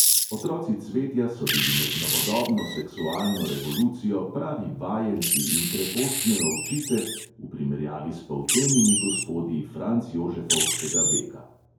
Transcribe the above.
Otroci cvetja so bili med novodobno seksualno revolucijo pravi vajenci in krepostne ovčice v primerjavi s poltenimi gospodi francjožefovskega veka.